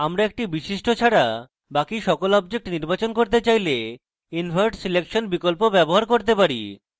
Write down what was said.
আমরা একটি বিশিষ্ট ছাড়া বাকি সকল objects নির্বাচন করতে চাইলে invert selection বিকল্প ব্যবহার করতে পারি